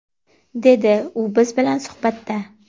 dedi u biz bilan suhbatda.